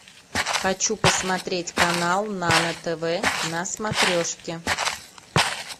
хочу посмотреть канал нано тв на смотрешке